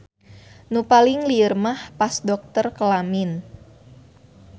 Nu paling lieur mah pas dokter kelamin.